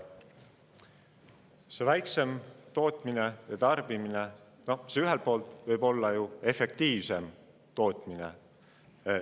See väiksem tootmine ja tarbimine võib ju ühelt poolt efektiivsemat tootmist.